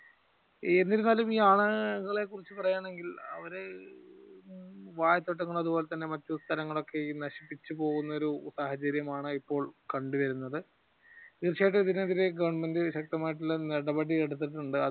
എന്നിരുന്നാലും ഈ ആനകളെ കുറിച്ച് പറയുകയാണെങ്കിൽ അവർ വാഴത്തോട്ടങ്ങളും അതുപോലെ തന്നെ മറ്റു സ്ഥലങ്ങൾ ഒക്കെ നശിപ്പിച്ചു പോകുന്ന ഒരു സാഹചര്യമാണ് ഇപ്പോൾ കണ്ടു വരുന്നത് തീർച്ചയായും ഇതിനെതിരെ ഗവെർന്മെന്റ് ശക്തമായിട്ടുള്ള നടപടി എടുത്തിട്ടുണ്ട്.